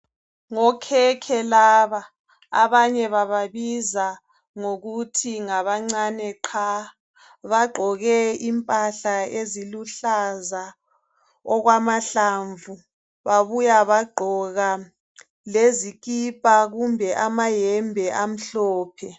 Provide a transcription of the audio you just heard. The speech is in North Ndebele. Ngokhekhe laba abanye bababiza ngokuthi ngabancane qha bagqoke impahla eziluhlaza okwamahlamvu babuya bagqoka lezikipa kumbe amayembe amhlophe.